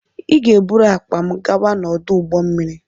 Ị ga-eburu akpa m gawa n'ọdụ ụgbọ mmiri!